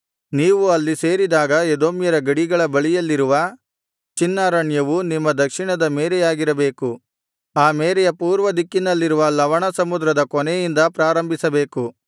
ನೀವು ಅಲ್ಲಿ ಸೇರಿದಾಗ ಎದೋಮ್ಯರ ಗಡಿಗಳ ಬಳಿಯಲ್ಲಿರುವ ಚಿನ್ ಅರಣ್ಯವು ನಿಮ್ಮ ದಕ್ಷಿಣದ ಮೇರೆಯಾಗಿರಬೇಕು ಆ ಮೇರೆಯ ಪೂರ್ವದಿಕ್ಕಿನಲ್ಲಿರುವ ಲವಣಸಮುದ್ರದ ಕೊನೆಯಿಂದ ಪ್ರಾರಂಭಿಸಬೇಕು